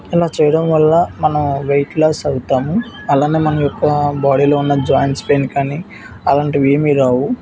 అలా చేయడం వల్ల మనం వెయిట్ లాస్ అవుతాము. అలానే మన యొక్క బాడీలో ఉన్న జాయింట్స్ పెయిన్ కానీ అలాంటివి ఏమీ--